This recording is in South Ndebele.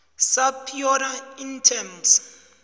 subpoena in terms